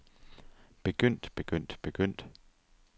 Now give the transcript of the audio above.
begyndt begyndt begyndt